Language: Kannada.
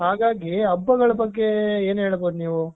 ಹಾಗಾಗಿ ಹಬ್ಬಗಳ ಬಗ್ಗೆ ಏನು ಹೇಳಬಹುದು ನೀವು.